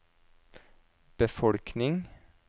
befolkning